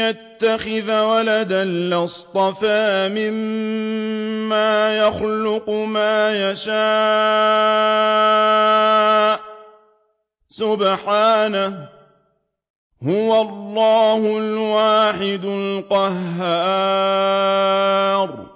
يَتَّخِذَ وَلَدًا لَّاصْطَفَىٰ مِمَّا يَخْلُقُ مَا يَشَاءُ ۚ سُبْحَانَهُ ۖ هُوَ اللَّهُ الْوَاحِدُ الْقَهَّارُ